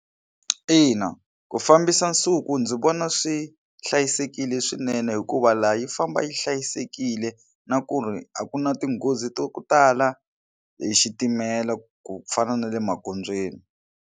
Ina, ku fambisa nsuku ndzi vona swi hlayisekile swinene hikuva laha yi famba yi hlayisekile na ku ri a ku na tinghozi to tala hi xitimela ku fana na le magondzweni.